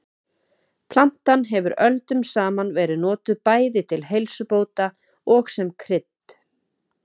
Plantan hefur öldum saman verið notuð bæði til heilsubóta og sem krydd.